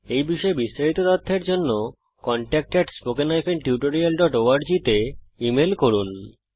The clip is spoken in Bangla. এই বিষয়ে বিস্তারিত তথ্যের জন্য contactspoken tutorialorg তে ইমেল করুন